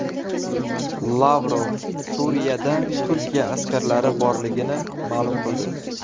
Lavrov Suriyada Turkiya askarlari borligini ma’lum qildi.